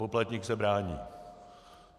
Poplatník se brání.